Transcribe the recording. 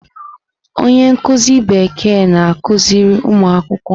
Onye nkuzi Bekee na-akụziri ụmụ akwụkwọ.